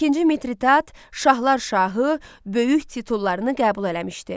İkinci Midridat şahlar şahı böyük titullarını qəbul eləmişdi.